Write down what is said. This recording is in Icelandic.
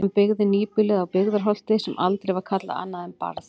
Hann byggði nýbýlið á Byggðarholti sem aldrei var kallað annað en Barð.